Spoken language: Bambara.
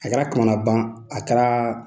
A kɛra kamanagan a kɛra